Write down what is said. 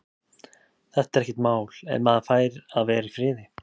Þetta er ekkert mál. ef maður fær að vera í friði.